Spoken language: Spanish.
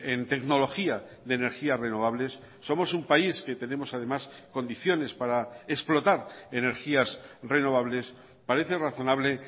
en tecnología de energías renovables somos un país que tenemos además condiciones para explotar energías renovables parece razonable